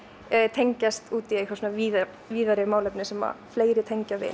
tengjast út í einhver víðari víðari málefni sem fleiri tengja við